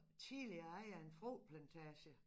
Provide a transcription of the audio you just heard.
Tidligere ejer af en frugtplantage